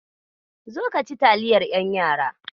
Zo ka ci taliyar ƴan yara.